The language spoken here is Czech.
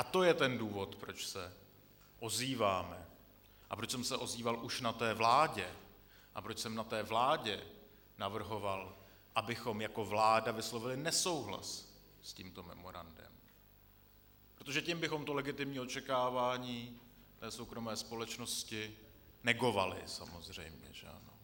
A to je ten důvod, proč se ozývám a proč jsem se ozýval už na té vládě a proč jsem na té vládě navrhoval, abychom jako vláda vyslovili nesouhlas s tímto memorandem, protože tím bychom to legitimní očekávání té soukromé společnosti negovali samozřejmě, že ano.